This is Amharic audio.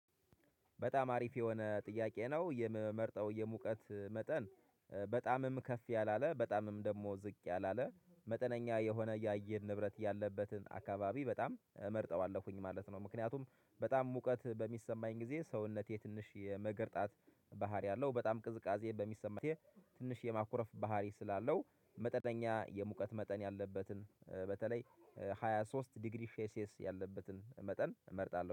በጣም አሪፍ የሆነ ጥያቄ ነው የምመርጠው የሙቀት መጠን በጣምም ከፍ ያላለ በጣምም ደግሞ ዝቅ ያላለ መጠነኛ የሆነ የአየር ንብረት ያለበትን አካባቢ በጣም እመርጠዋለሁኝ ማለት ነው። ምክንያቱም በጣም ሙቀት በሚሰማኝ ጊዜ ሰውነቴ ትንሽ የመገርጣት ባህሪ አለው። በጣም ቅዝቃዜ በሚሰማኝ ትንሽ የማኩረፍ ባህሪ ስላለው። መጠነኛ የሙቀት መጠን ያለበትን በተለይ ሃያ ሶስት ዲግሪ ሼልሲየስ ያለበትን መጠን እመርጣለሁ